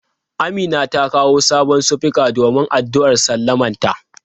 Amina ta kawo sabon sufika domin addu'ar sallamanta.